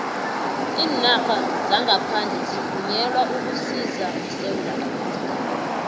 iinarha zangaphandle zivunyelwe ukusisa esewula afrika